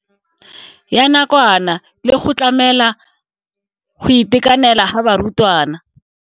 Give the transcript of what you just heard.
Ya nakwana le go tlamela go itekanela ga barutwana.